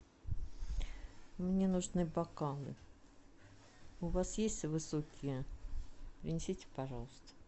мне нужны бокалы у вас есть высокие принесите пожалуйста